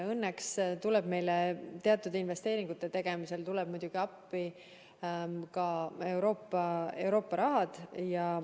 Õnneks tuleb meile teatud investeeringute tegemisel appi Euroopa raha.